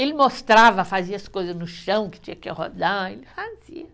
Ele mostrava, fazia as coisas no chão, que tinha que rodar, ele fazia.